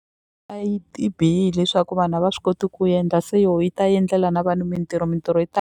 ti bihile hi swa ku vanhu a va swi koti ku endla se yo yi ta yi endlela na vanhu mintirho mintirho yi ta.